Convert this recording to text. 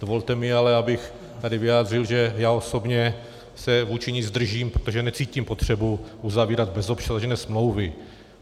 Dovolte mi ale, abych tady vyjádřil, že já osobně se vůči ní zdržím, protože necítím potřebu uzavírat bezobsažné smlouvy.